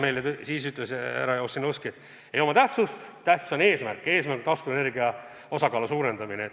Härra Ossinovski ütles, et see ei oma tähtsust – tähtis on eesmärk ja eesmärk on taastuvenergia osakaalu suurendamine.